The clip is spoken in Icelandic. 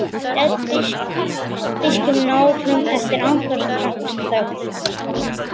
hélt biskup áfram eftir andartaks þögn.